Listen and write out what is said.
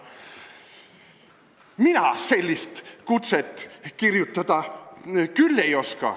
Nõunik: "Mina sellist kutset kirjutada küll ei oska.